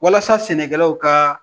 Walasa sɛnɛkɛlaw kaa